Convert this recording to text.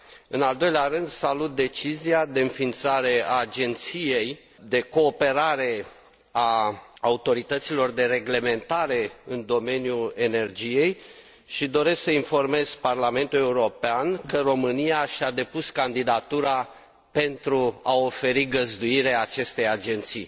În al doilea rând salut decizia de înființare a Agenției de Cooperare a Autorităților de Reglementare în Domeniul Energiei și doresc să informez Parlamentul European că România și a depus candidatura pentru a oferi găzduire acestei agenții.